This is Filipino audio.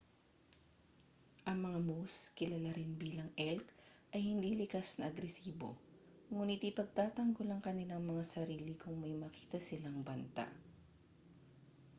ang mga moose kilala rin bilang elk ay hindi likas na agresibo nguni't ipagtatanggol ang kanilang mga sarili kung may makita silang banta